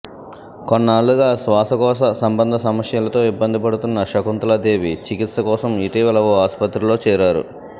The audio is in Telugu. కొన్నాళ్లుగా శ్వాసకోశ సంబంధ సమస్యలతో ఇబ్బంది పడుతున్న శకుంతలా దేవి చికిత్స కోసం ఇటీవల ఓ ఆసుపత్రిలో చేరారు